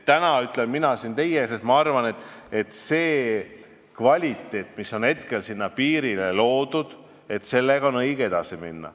Täna ütlen mina siin teie ees, et ma arvan, et selle kvaliteediga, mis on hetkel piiril loodud, on õige edasi minna.